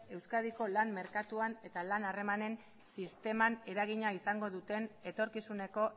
euskadiko lan merkatuan eta lan harremanen sisteman eragina izango duten etorkizuneko